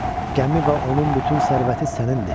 Gəmi və onun bütün sərvəti sənindir.